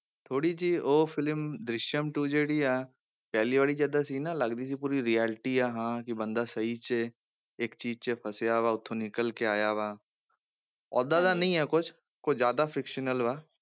ਥੋੜ੍ਹੀ ਜਿਹੀ ਉਹ film ਦ੍ਰਿਸ਼ਿਅਮ two ਜਿਹੜੀ ਹੈ ਪਹਿਲੀ ਵਾਰੀ ਵਿੱਚ ਏਦਾਂ ਸੀ ਨਾ ਲੱਗਦੀ ਸੀ ਪੂਰੀ reality ਆ ਹਾਂ ਕਿ ਬੰਦਾ ਸਹੀ 'ਚ ਇੱਕ ਚੀਜ਼ 'ਚ ਫਸਿਆ ਵਾ ਉੱਥੋਂ ਨਿਕਲ ਕੇ ਆਇਆ ਵਾ, ਓਦਾਂ ਦਾ ਨਹੀਂ ਹੈ ਕੁਛ, ਕੁਛ ਜ਼ਿਆਦਾ fictional ਵਾ